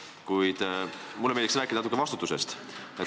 Kuid mulle meeldiks rääkida natuke vastutusest.